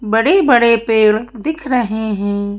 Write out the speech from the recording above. बड़े-बड़े पेड़ दिख रहे हैं।